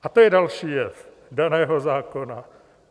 A to je další jev daného zákona.